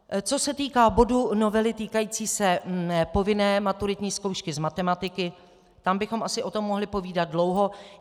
Co se týká bodu novely týkající se povinné maturitní zkoušky z matematiky, tam bychom asi o tom mohli povídat dlouho.